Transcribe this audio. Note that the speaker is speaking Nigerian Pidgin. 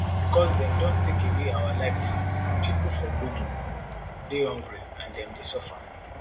becos dem don take away our livelihoods pipo for bodo dey hungry and dem dey suffer